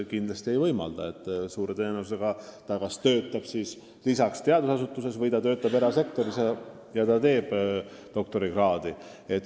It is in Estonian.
Kindlasti praegune summa seda ei võimalda, suure tõenäosusega tuleb doktorikraadi tehes töötada lisaks mõnes teadusasutuses või erasektoris.